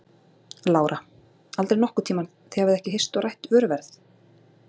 Lára: Aldrei nokkurn tíman, þið hafið ekki hist og rætt vöruverð?